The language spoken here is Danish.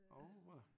Oure